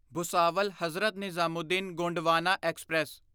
Bhusawal Hazrat Nizamuddin Gondwana express